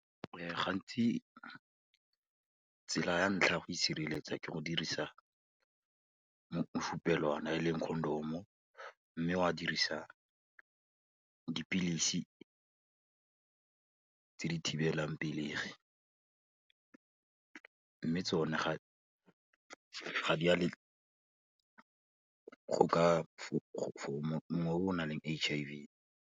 Gantsi tsela ya ntlha go itshireletsa ke go dirisa mofupelwana e leng condom-o, mme wa dirisa dipilisi tse di thibelang pelegi, mme tsona ga di a , go ka o nang le H_I_V.